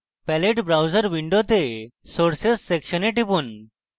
palette browser window sources সেকশনে টিপুন